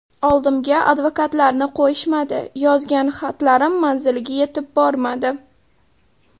Oldimga advokatlarni qo‘yishmadi, yozgan xatlarim manziliga yetib bormadi.